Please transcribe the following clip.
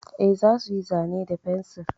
Eh, za su yi zane da fensir.